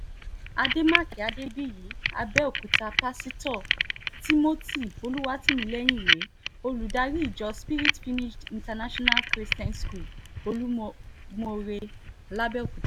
àdèmàkè adébíyì àbẹ̀òkúta pásítọ̀ timothy olùwátìmílẹ́yìn rèé olùdarí ìjọ spirit finished international christian school olumọọre làbẹ́